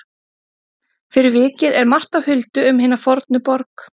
Fyrir vikið er margt á huldu um hina fornu borg.